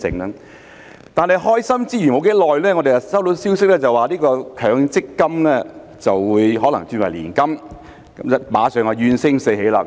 不過，開心之餘，不久後我們便收到消息指強積金可能轉為年金，馬上怨聲四起。